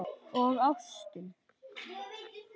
Og ástin.